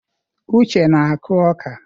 Uche na-akụ ọka.